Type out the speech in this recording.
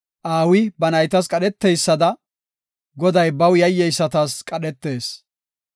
Aawi ba naytas qadheteysada, Goday baw yayyeysatas qadhetees.